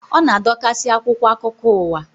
Ọ na-adokasị akwụkwọ akụkọ uwa